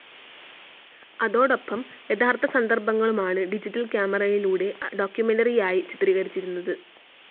അതോടൊപ്പം യഥാർത്ഥ സന്ദർഭങ്ങളുമാണ് ഡിജിറ്റൽ ക്യാമറയിലൂടെ ഡോക്യുമെൻ്ററിക്കായി ചിത്രീകരിച്ചിരുന്നത്.